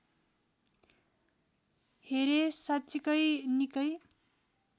हेरे साँच्चिकै निकै